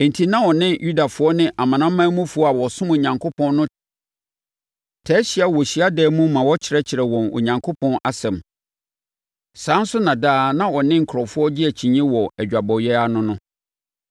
Enti, na ɔne Yudafoɔ ne amanamanmufoɔ a wɔsom Onyankopɔn no taa hyia wɔ hyiadan mu ma ɔkyerɛkyerɛ wɔn Onyankopɔn asɛm. Saa ara nso na daa na ɔne nkurɔfoɔ gye akyinnyeɛ wɔ adwabɔeɛ ara no no.